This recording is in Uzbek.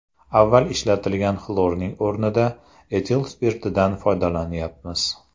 Avval ishlatilgan xlorning o‘rnida etil spirtidan foydalanyapmiz.